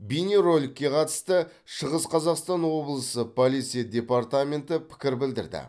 бейнероликке қатысты шығыс қазақстан облысы полиция департаменті пікір білдірді